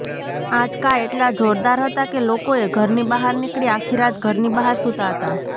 આંચકા એટલા જોરદાર હતા કે લોકોએ ઘરની બહાર નીકળી આખી રાત ઘરની બહાર સૂતા હતા